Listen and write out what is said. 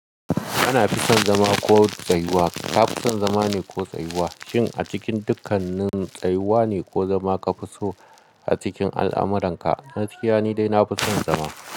Ana fison zama ko tsayuwa. Ka fi son zama ne ko tsayuwa? Shin a cikin dukkanin tsayuwa ne ko zama ka fi so a cikin al'amuranka? Gaskiya ni dai na fi son zama.